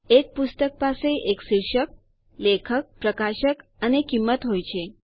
એક પુસ્તક પાસે એક શીર્ષક લેખકપ્રકાશક અને કીંમત હોય છે